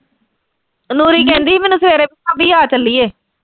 ਨੂਰੀ ਕਹਿੰਦੀ ਮੈਨੂੰ ਸਵੇਰੇ ਭਾਬੀ ਆ ਚੱਲੀਏ।